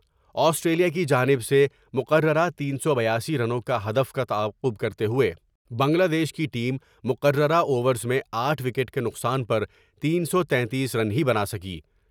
Australia کی جانب سے مقررہ تین سو بیاسی رنوں کے ہدف کا تعاقب کر تے ہوئے بنگلہ دیش کی ٹیم مقررہ اوورز میں آٹھ وکٹ کے نقصان پر تین سو تیتیس رن ہی بناسکی ۔